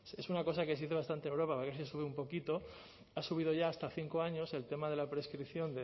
es una cosa que se dice bastante en europa sube un poquito ha subido ya hasta cinco años el tema de la prescripción